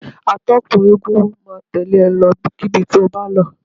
Atọ́kùn eégún máa tẹ̀lẹ́ e lọ ibikíbi tó bá lọ.